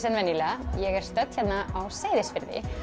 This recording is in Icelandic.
en venjulega ég er stödd hérna á Seyðisfirði